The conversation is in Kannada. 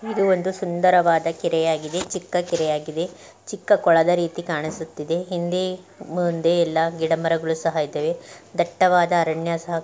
ಇದು ಒಂದು ಸುಂದರವಾದ ಕೆರೆಯಾಗಿದೆ ಚಿಕ್ಕ ಕೆರೆಯಾಗಿದೆ ಚಿಕ್ಕ ಕೊಳದ ರೀತಿ ಕಾಣಿಸುತ್ತಿದೆ ಹಿಂದೆ ಮುಂದೆ ಗಿಡ ಮರಗಳು ಸಹ ಇದವೆ ದಟ್ಟವಾದ ಅರಣ್ಯ ಸಹ---